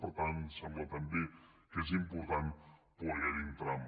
per tant sembla també que és important poder hi entrar